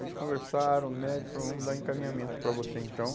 Eles conversaram, o médico falou, vamos dar encaminhamento para você então.